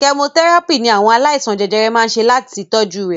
Kẹmotẹ́ràpì ní àwọn aláìsàn jẹjẹrẹ máa ń ṣe láti kojú rẹ̀.